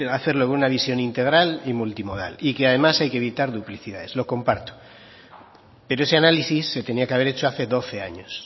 hacerlo con una visión integral y multimodal y que además hay evitar duplicidades lo comparto pero ese análisis se tenía que haber hecho hace doce años